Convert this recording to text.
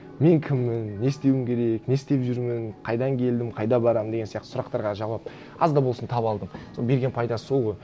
мен кіммін не істеуім керек не істеп жүрмін қайдан келдім қайда барамын деген сияқты сұрақтарға жауап аз да болсын таба алдым соның берген пайдасы сол ғой